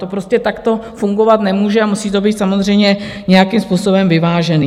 To prostě takto fungovat nemůže a musí to být samozřejmě nějakým způsobem vyvážené.